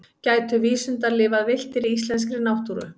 gætu vísundar lifað villtir í íslenskri náttúru